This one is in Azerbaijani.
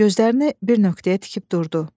Gözlərini bir nöqtəyə tikib durdu.